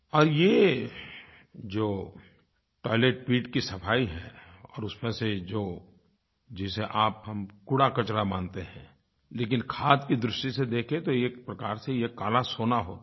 और ये जो टॉयलेट पिट की सफ़ाई है और उसमें से जो जिसे आपहम कूड़ाकचरा मानते हैं लेकिन खाद की दृष्टि से देखें तो ये एक प्रकार से ये काला सोना होता है